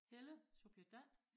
Helle subjekt A